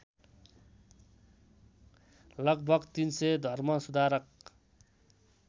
लगभग ३०० धर्मसुधारक